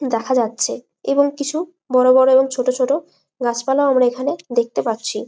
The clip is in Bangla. দেখা যাচ্ছে এবং কিছু বোরো বড়ো ছোট ছোট গাছপালা আমরা এইখানে দেখতে পারছি।